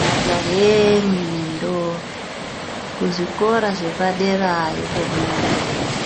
Majahe imwi nendombi kuzvikora zvepaderayo komwoenda